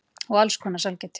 Og alls konar sælgæti.